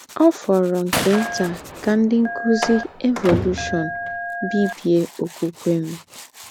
Ọ̀ fòrọ̀ nke ntà kà ńdị́ ńkùzì evolúshọ̀n bìbiè ọ̀kwúkwè m.